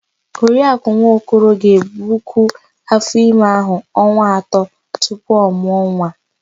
Oriakụ Nwokoro ga-ebukwu áfọ́ime áhụ̀ ọnwa atọ tupu ọ mụọ nwa.